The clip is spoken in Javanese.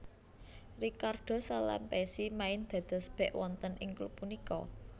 Ricardo Salampessy main dados bek wonten ing klub punika